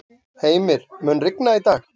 Heimir, mun rigna í dag?